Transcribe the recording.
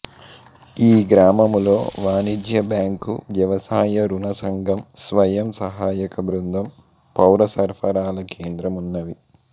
ఈ గ్రామములో వాణిజ్య బ్యాంకు వ్యవసాయ ఋణ సంఘం స్వయం సహాయక బృందం పౌర సరఫరాల కేంద్రం వున్నవి